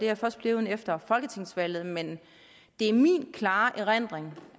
jeg først blevet efter folketingsvalget men det er min klare erindring